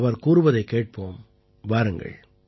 அவர் கூறுவதைக் கேட்போம் வாருங்கள்